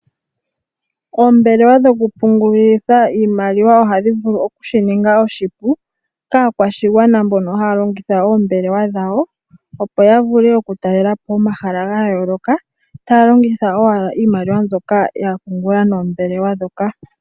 Ombelewa dho kupungulitha iimaliwa ohadhi vulu okushi ninga oshipu kaakwashigwana mboka haya longitha oombelewa dhawo opo yavule okutalela po omahala gayooloka taya longitha owala iimaliwa mbyoka yapungula noombelewa dhoka.